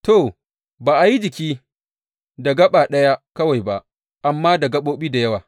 To, ba a yi jiki da gaɓa ɗaya kawai ba, amma da gaɓoɓi da yawa.